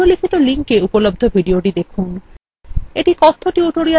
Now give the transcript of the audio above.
নিম্নলিখিত link উপলব্ধ videothe দেখুন